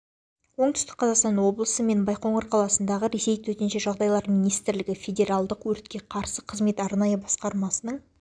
оңтүстік қазақстан облысы мен байқоңыр қаласындағы ресей төтенше жағдайлар министрлігі федералдық өртке қарсы қызмет арнайы басқармасының